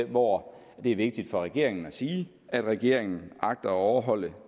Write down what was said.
hvor det er vigtigt for regeringen at sige at regeringen agter at overholde